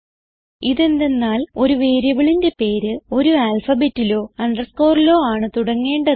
ഇതെന്തന്നാൽ ഒരു വേരിയബിളിന്റെ പേര് ഒരു alphabetലോ underscoreലോ ആണ് തുടങ്ങേണ്ടത്